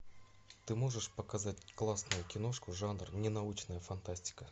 ты можешь показать классную киношку жанр ненаучная фантастика